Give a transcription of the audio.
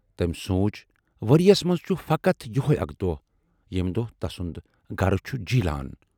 تمٔۍ سونچ"ؤرۍیَس منز چھُ فقط یِہےَ اَکھ دۅہ، ییمہِ دۅہ تسُند گَرٕ چھُ جیٖلان۔